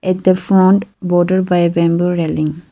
at the font border by a bamboo railing.